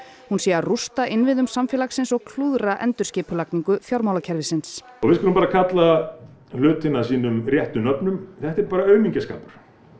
hún sé að rústa innviðum samfélagsins og klúðra endurskipulagningu fjármálakerfisins við skulum bara kalla hlutina sínum réttu nöfnum þetta er bara aumingjaskapur